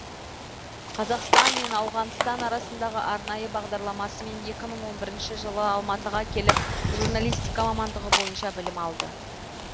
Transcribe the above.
қазақстан мен ауғанстан арасындағы арнайы бағдарламасымен екі мың он бірінші жылы алматыға келіп журналистика мамандығы бойынша білім алды